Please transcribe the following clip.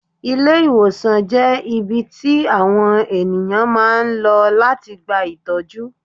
Ilé-ìwòsàn jẹ́ ibi tí àwọn ènìyàn máa ń lọ láti gba ìtọ́jú.